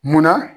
Munna